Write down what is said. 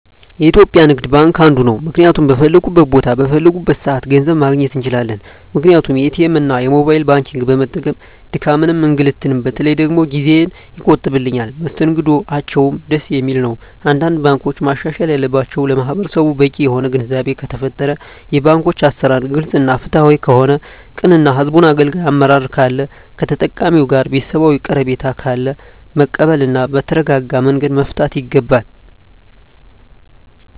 የኢትዩጲያ ንግድባንክ አንዱ ነዉ ምክንያቱም በፈለኩት ቦታ በፈለኩበት ሰአት ገንዘብ ማግኘት እንችላለን ምክንያቱም ኢትኤምእና የሞባይል ባንኪግን በመጠቀም ድካምንም እንግልትም በተለይ ደግሞ ጊዜየን ይቆጥብልኛል መስተንግዶአቸዉም ደስ የሚል ነዉ አንዳንድ ባንኮች ማሻሻል ያለባቸዉ ለማህበረሰቡ በቂ የሆነ ግንዛቤ ከተፈጠረ የባንኮች አሰራር ግልፅ እና ፍትሀዊ ከሆነ ቅን እና ህዝቡን አገልጋይ አመራር ካለ ከተጠቃሚዉ ጋር ቤተሰባዊ ቀረቤታ ካለ መቀበል እና በተረጋጋመንገድ መፍታት ይገባል